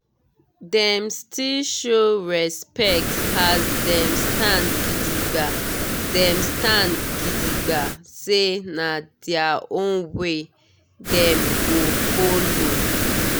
dem still show respect as dem stand gidigba dem stand gidigba say na their own way dem go follow.